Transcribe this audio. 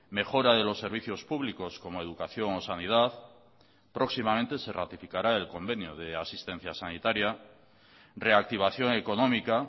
mejora de los servicios públicos como educación o sanidad próximamente se ratificará el convenio de asistencia sanitaria reactivación económica